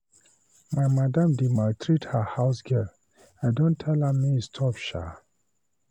My madam dey maltreat her house girl, I don tell am to stop shaa.